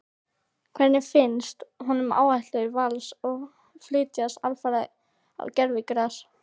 Hvernig finnst honum áætlanir Vals að flytjast alfarið á gervigras?